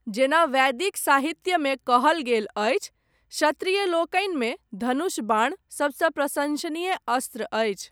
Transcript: जेना वैदिक साहित्यमे कहल गेल अछि, क्षत्रियलोकनिमे धनुष बाण सबसँ प्रशंसनीय अस्त्र अछि।